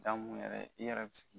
Dakun yɛrɛ i yɛrɛ